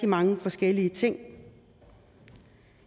mange forskellige ting